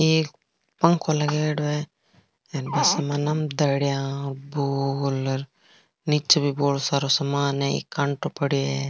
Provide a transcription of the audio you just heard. एक पंखो लगाएड़ो है नीचे भी बहोत सारो सामान है एक कांटो पड़ेयो है।